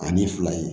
Ani fila ye